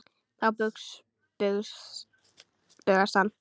Þá bugast hann.